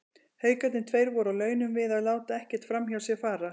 Haukarnir tveir voru á launum við að láta ekkert framhjá sér fara.